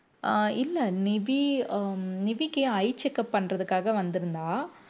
ஆஹ் இல்ல நிவி அஹ் நிவிக்கு eye checkup பண்றதுக்காக வந்திருந்தா